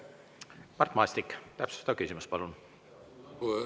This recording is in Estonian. Mart Maastik, täpsustav küsimus, palun!